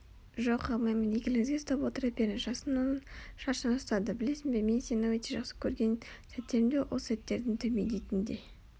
жоқ алмаймын игіліңізге ұстап отыра беріңіз жасын оның шашынан ұстады білесің бе мен сені өте жақсы көрген сәттерімде ол сәттердің төмендейтін де